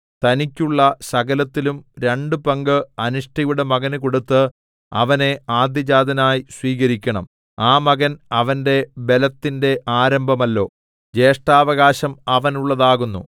തനിക്കുള്ള സകലത്തിലും രണ്ടു പങ്ക് അനിഷ്ടയുടെ മകന് കൊടുത്ത് അവനെ ആദ്യജാതനായി സ്വീകരിക്കണം ആ മകൻ അവന്റെ ബലത്തിന്റെ ആരംഭമല്ലോ ജ്യേഷ്ഠാവകാശം അവനുള്ളതാകുന്നു